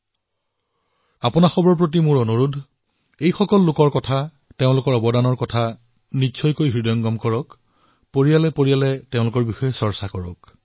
মই আপোনালোক সকলোলৈ আহ্বান জনাইছো যে এই লোকসকলৰ বিষয়ে তেওঁলোকৰ অৱদানৰ বিষয়ে নিশ্চয়কৈ জানক পৰিয়ালত তেওঁলোকৰ বিষয়ে আলোচনা কৰক